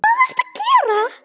Hvað ertu að gera!